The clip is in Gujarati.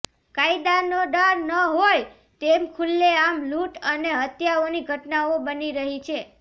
કાયદાનો ડર ન હોય તેમ ખુલ્લેઆમ લૂંટ અને હત્યાઓની ઘટનાઓ બની રહી છે